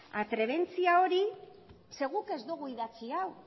atrebentzia hori zeren eta guk ez dugu idatzi hau